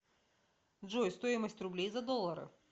джой стоимость рублей за доллары